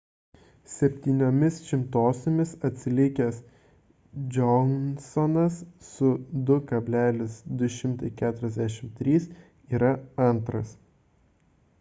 septyniomis šimtosiomis atsilikęs johnsonas su 2,243 yra antras